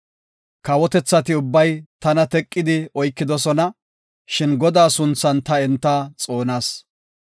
Kawotethati ubbay tana teqidi oykidosona; shin Godaa sunthan ta enta xoonas.